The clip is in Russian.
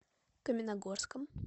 каменногорском